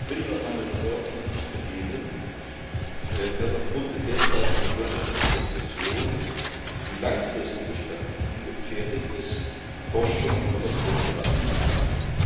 Ich will Ihnen meine Besorgnis nicht verhehlen, dass aufgrund der derzeitigen wirtschaftlichen Rezession die langfristige Strategie gefährdet ist, Forschung und Innovation voranzutreiben.